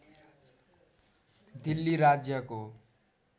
दिल्ली राज्यको